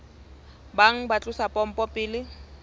bang ba tlosa pompo pele